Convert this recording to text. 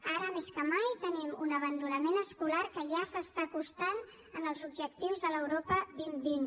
ara més que mai tenim un abandonament escolar que ja s’està acostant als objectius de l’europa dos mil vint